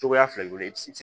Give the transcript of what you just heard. Cogoya fila de don i bɛ se